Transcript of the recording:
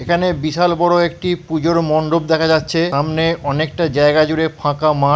এখানে বিশাল বড় একটি পুজোর মণ্ডপ দেখা যাচ্ছে সামনে অনেকটা জায়গা জুড়ে ফাঁকা মাঠ ।